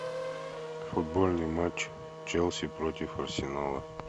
футбольный матч челси против арсенала